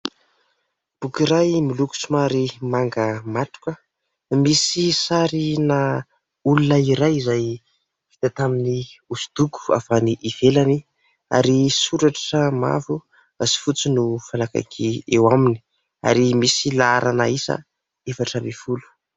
Boky iray miloko somary manga matroka, misy sarina olona iray izay vita tamin'ny hosodoko fa avy any ivelany ary soratra mavo sy fotsy no fanakaiky eo aminy ary misy laharana isa efatra ambin'ny folo.